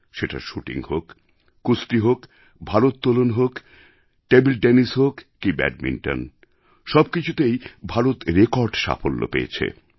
সেটা শ্যুটিং হোক কুস্তি হোক ভারোত্তোলন হোক টেবিল টেনিস হোক কি ব্যাডমিণ্টন সবকিছুতেই ভারত রেকর্ড সাফল্য পেয়েছে